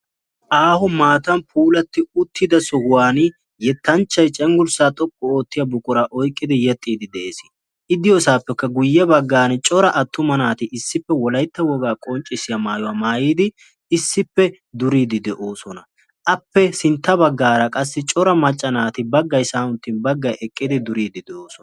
Aaho maatan puulatti uttida sohuwan yettanchchay cenggurssa xoqqu oottiya buqura oyqqidi yeexxide de'ees. I diyoosapekka guyyee baggan cora attuma naati issippe wolaytta woga qonccissiya maayyuwa maayyidi issippe duride de'oosona. Appe sintta baggaara qassi cora macca naati baggay sa'aan uttin baggay eqqidi duride doosona.